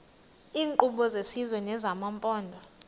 iinkqubo zesizwe nezamaphondo